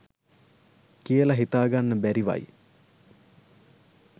කියල හිතා ගන්න බැරිවයි.